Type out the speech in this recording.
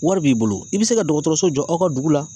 Wari b'i bolo i bɛ se ka dɔgɔtɔrɔso jɔ aw ka dugu la